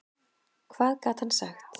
Hvað gat hann sagt?